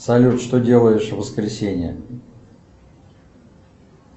салют что делаешь в воскресенье